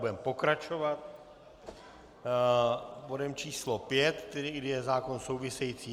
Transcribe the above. Budeme pokračovat bodem číslo 5, kterým je zákon související.